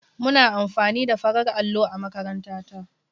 Muna amfani da farar allo a makaranta ta.